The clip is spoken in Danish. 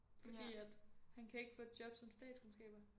Fordi at han kan ikke få et job som statskundskaber